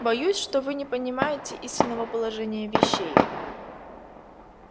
боюсь что вы не понимаете истинного положения вещей